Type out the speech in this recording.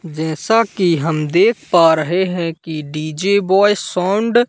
जैसा कि हम देख पा रहें हैं कि डी_जे बॉय सौंड़ --